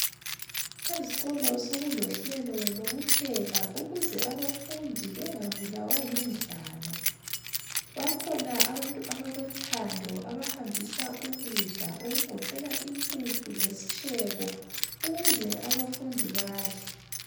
Ezikolo sokulohlelo lokupheka ukuze abafundi bengabulawa yindlala . Bakhona abantu abalothando abahambisa ukudla okugoqela impuphu lesitshebo ukuze abafundi badle.